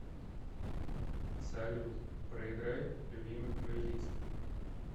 салют проиграй любимый плейлист